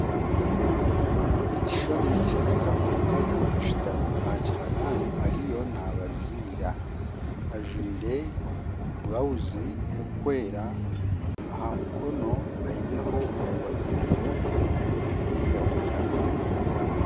Ekishushana nikyoreka omukazi ashutami aha kiharaani ariyo naabaziira ajwire burawuzi erikwera aha mukono aineho omubaziiro gurikwiragura